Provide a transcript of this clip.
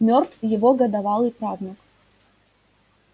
мёртв его годовалый правнук